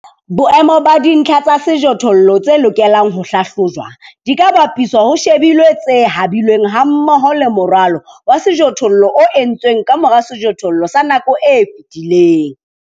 Boemo ba dintlha tsa sejothollo tse lokelang ho hlahlojwa di ka bapiswa ho shebilwe tse habilweng hammoho le moralo wa sejothollo o entsweng ka mora sejothollo sa nako e fetileng.